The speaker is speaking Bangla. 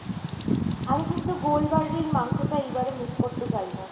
আমি কিন্তু গোলবাড়ির মাংসটা এইবারে miss করতে চাইনা।